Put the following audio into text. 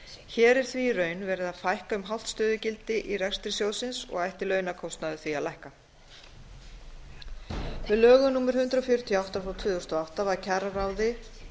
hér er því í raun verið að fækka um hálft stöðugildi í rekstri sjóðsins og ætti launakostnaður því að lækka með lögum númer hundrað fjörutíu og átta tvö þúsund og átta var kjararáði